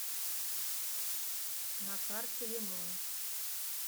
на карте лимон